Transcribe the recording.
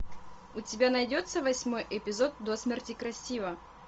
у тебя найдется восьмой эпизод до смерти красива